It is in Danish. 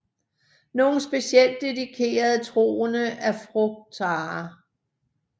Nogle specielt dedikerede troende er frugtarer